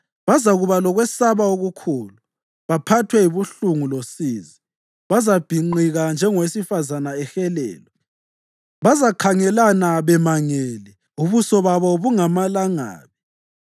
Bazakuba lokwesaba okukhulu, baphathwe yibuhlungu losizi; bazabhinqika njengowesifazane ehelelwa. Bazakhangelana bemangele, ubuso babo bungamalangabi.